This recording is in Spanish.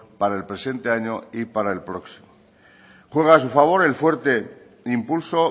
para el presente año y para el próximo juega a su favor el fuerte impulso